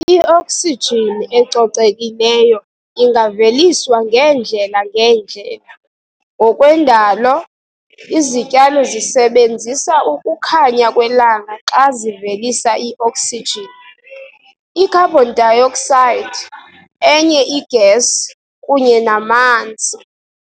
I-oxygen ecocekileyo ingaveliswa ngeendlela ngeendlela. ngokwendalo, izityalo zisebenzisa ukukhanya kwelanga xa zivelisa i-oxygen, i-carbon dioxide, enye i-gas kunye namanzi.